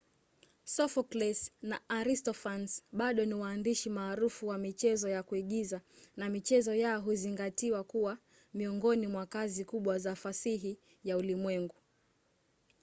sophocles na aristophanes bado ni waandishi maarufu wa michezo ya kuigiza na michezo yao huzingatiwa kuwa miongoni mwa kazi kubwa za fasihi ya ulimwengu